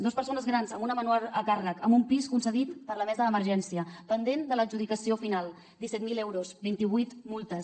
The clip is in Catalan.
dos persones grans amb una menor a càrrec amb un pis concedit per la mesa d’emergència pendent de l’adjudicació final disset mil euros vint i vuit multes